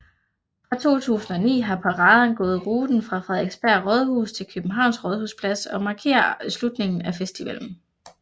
Fra 2009 har paraden gået ruten fra Frederiksberg Rådhus til Københavns Rådhusplads og markerer afslutningen af festivalen